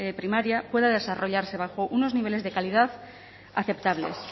primaria pueda desarrollarse bajo unos niveles de calidad aceptables